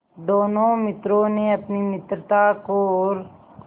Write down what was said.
दोनों मित्रों ने अपनी मित्रता को और